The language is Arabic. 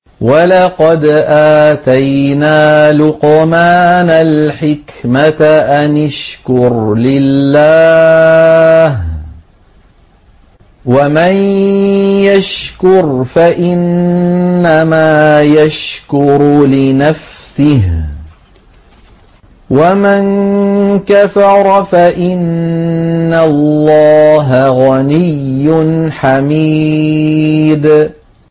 وَلَقَدْ آتَيْنَا لُقْمَانَ الْحِكْمَةَ أَنِ اشْكُرْ لِلَّهِ ۚ وَمَن يَشْكُرْ فَإِنَّمَا يَشْكُرُ لِنَفْسِهِ ۖ وَمَن كَفَرَ فَإِنَّ اللَّهَ غَنِيٌّ حَمِيدٌ